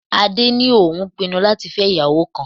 Adé ní òun pinnu láti fẹ́ ìyàwó kan.